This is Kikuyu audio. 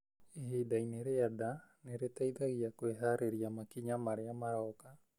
Ihinda-inĩ rĩa nda nĩ rĩteithagia kwĩhaarĩria makinya marĩa maroka